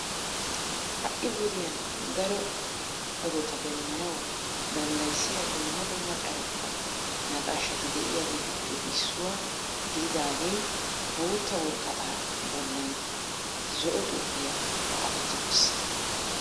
Ha"i wodiyan daro odota demmanawu dandayissiya dumma dumma carkkuwa naqaashati de'iyaageetuppe issuwa gididaagee bootta woraqataa bollan zo"o xuupiyan xaapetti uttiis.